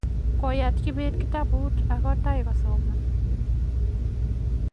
koyat kibet kitabut ako taiy kosoman